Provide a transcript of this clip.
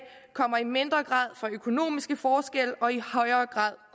kommer i mindre grad fra økonomiske forskelle og i højere grad